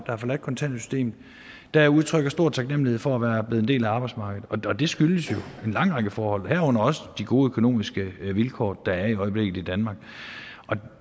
har forladt kontanthjælpssystemet der udtrykker stor taknemmelighed for at være blevet en del af arbejdsmarkedet og det skyldes jo en lang række forhold herunder også de gode økonomiske vilkår der er i øjeblikket i danmark